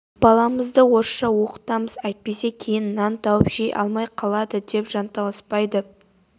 баламызды орысша оқытамыз әйтпесе кейін нан тауып жей алмай қалады деп жанталаспайды